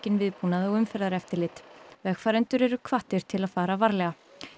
viðbúnað og umferðareftirlit vegfarendur eru hvattir til að fara varlega